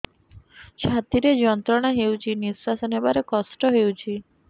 ଛାତି ରେ ଯନ୍ତ୍ରଣା ହେଉଛି ନିଶ୍ଵାସ ନେବାର କଷ୍ଟ ହେଉଛି